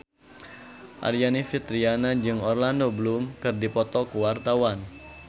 Aryani Fitriana jeung Orlando Bloom keur dipoto ku wartawan